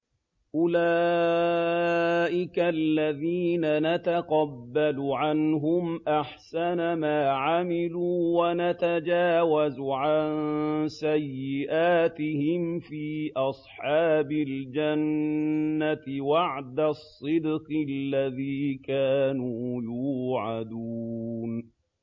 أُولَٰئِكَ الَّذِينَ نَتَقَبَّلُ عَنْهُمْ أَحْسَنَ مَا عَمِلُوا وَنَتَجَاوَزُ عَن سَيِّئَاتِهِمْ فِي أَصْحَابِ الْجَنَّةِ ۖ وَعْدَ الصِّدْقِ الَّذِي كَانُوا يُوعَدُونَ